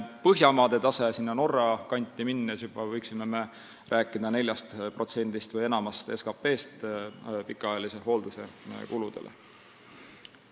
Põhjamaade taseme poole, Norra kanti minnes võiksime rääkida 4%-st või enamast protsendist SKT-st.